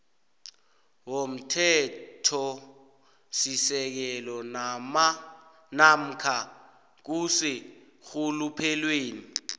womthethosisekelo namkha kuseenrhuluphelweni